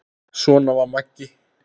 Svona var Maggi.